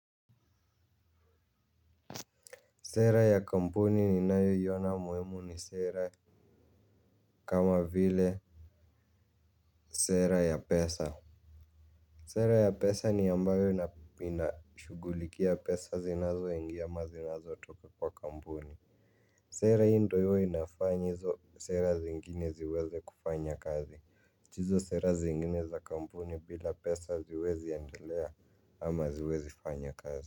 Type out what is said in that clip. Sera ya kampuni ninayoiona muhimu ni sera kama vile sera ya pesa. Sera ya pesa ni yambayo inashugulikia pesa zinazo ingia ama zinazo toka kwa kampuni. Sera hii ndio hii ndio inafanya izo sera zingine ziweze kufanya kazi. Hizo sera zingine za kampuni bila pesa haziwezi andelea ama haziwezi fanya kazi.